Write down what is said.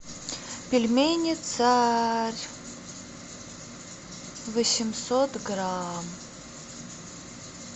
пельмени царь восемьсот грамм